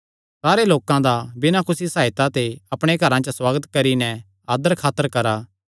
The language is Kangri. सारे लोकां दा बिना कुसी सकायता ते अपणे घरां च सुआगत करी नैं आदरखातर करा